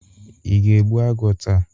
Ị ga-egbu agwọ taa?